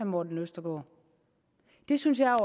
morten østergaard det synes jeg